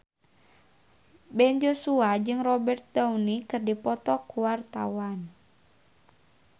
Ben Joshua jeung Robert Downey keur dipoto ku wartawan